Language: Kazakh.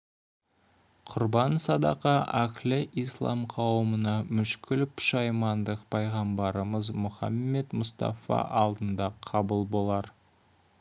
құрбан садақа әһлі ислам қауымына мүшкіл пұшаймандық пайғамбарымыз мұхаммәд мұстафа алдында қабыл болар